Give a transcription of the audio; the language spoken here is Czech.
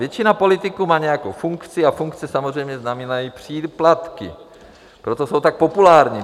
Většina politiků má nějakou funkci a funkce samozřejmě znamenají příplatky, proto jsou tak populární.